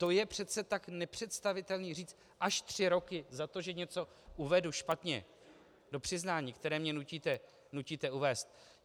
To je přece tak nepředstavitelné říct až tři roky za to, že něco uvedu špatně do přiznání, které mě nutíte uvést.